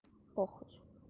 похуй